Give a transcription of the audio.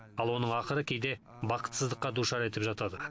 ал оның ақыры кейде бақытсыздыққа душар етіп жатады